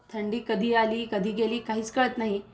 थंडी कधी आली कधी गेली काहीच कळत नाही